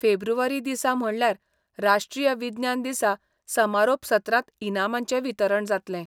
फेब्रुवारी दिसा म्हणल्यार राष्ट्रीय विज्ञान दिसा समारोप सत्रांत इनामांचें वितरण जातलें.